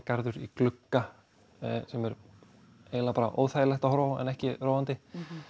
garður í glugga sem er eiginlega bara óþægilegt að horfa á en ekki róandi